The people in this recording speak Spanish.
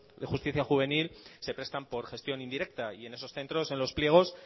de justicia juvenil se prestar por gestión indirecta y en esos centros en los pliegos